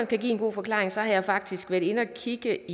give en god forklaring har jeg faktisk været inde og kigge